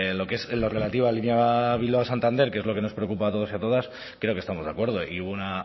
en lo relativo a la línea bilbao santander que es lo que nos preocupa a todos y a todas creo que estamos de acuerdo y hubo una